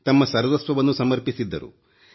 ತಮ್ಮ ಸರ್ವಸ್ವವನ್ನು ಸಮರ್ಪಿಸಿದ್ದರು